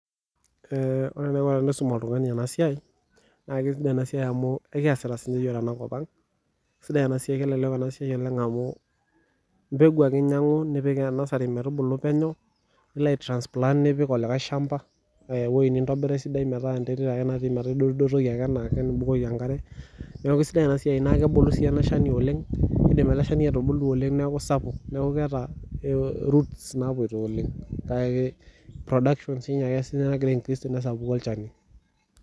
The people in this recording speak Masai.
Wore enaiko tenaisum oltungani ena siai, naa kesidai ena siai amu ekiasita sininye iyiok tenakop ang'. Sidai ena siai kelelek ena siai amu mbegu ake inyiangu, nipik nursery metubulu peno, nilo ai transplant nipik olikae shamba, aa ewoji nintobira esidai metaa enterit ake natii metaa idotdotoki enaake nibukoki enkare. Neeku sidai ena siai, naa kebulu sii ele shani oleng'. Kiidim ele shani atubulu oleng' neeku sapuk. Neeku keeta roots naapoito oleng'. Kake production sinye ake sininye nakira a increase tenesapuku olchani.